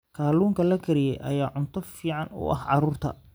Kalluunka la kariyey ayaa cunto fiican u ah carruurta.